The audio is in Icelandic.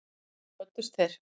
Síðan kvöddust þeir.